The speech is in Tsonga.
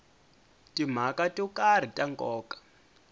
timhaka to karhi ta nkoka